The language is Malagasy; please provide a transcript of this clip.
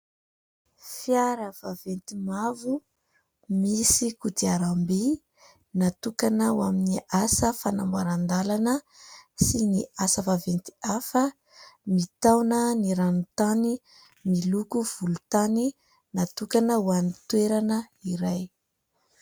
Fiara vaventy mavo, misy kodiaram-by natokana ho amin'ny asa fanamboaran-dàlana sy ny asa vaventy hafa, mitaona ny rano tany, miloko volon-tany natokana ho amin'ny toerana iray.